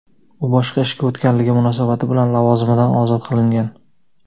u boshqa ishga o‘tganligi munosabat bilan lavozimidan ozod qilingan.